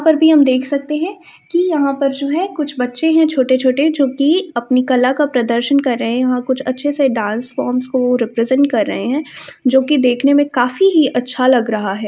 यहां पर भी हम देख सकते है कि यहां पर जो है कुछ बच्चे है छोटे-छोटे जो कि अपनी कला का प्रदर्शन कर रहे है। यहां कुछ डांस फॉर्म्स को रिप्रेजेंट कर रहे है जो कि देखने में काफी ही अच्छा लग रहा है।